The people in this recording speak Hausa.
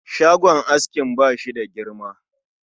Shagon askin bashi da girma